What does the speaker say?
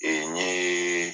a yeee